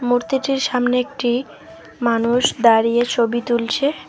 মূর্তিটির সামনে একটি মানুষ দাঁড়িয়ে ছবি তুলছে।